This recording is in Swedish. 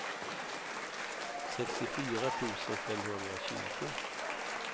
sextiofyra tusen femhundratjugo